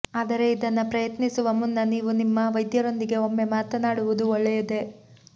ಆದರೆ ಇದನ್ನ ಪ್ರಯತ್ನಿಸುವ ಮುನ್ನ ನೀವು ನಿಮ್ಮ ವೈದ್ಯರೊಂದಿಗೆ ಒಮ್ಮೆ ಮಾತಾಡುವುದು ಒಳ್ಳೆಯದೇ